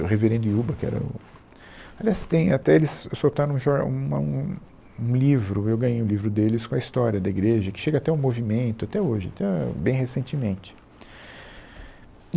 O reverendo Yuba, que era o... Aliás, tem, até eles soltaram um jor, um a um, um, um livro, eu ganhei um livro deles com a história da igreja, que chega até o movimento, até hoje, até bem recentemente.